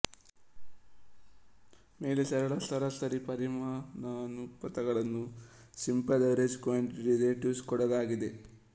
ಮೇಲೆ ಸರಳ ಸರಾಸರಿ ಪರಿಮಾಣಾನುಪಾತಗಳನ್ನು ಸಿಂಪಲ್ ಆವರೇಜ್ ಕ್ವಾಂಟಿಟಿ ರಿಲೆಟಿವ್ಸ್ ಕೊಡಲಾಗಿದೆ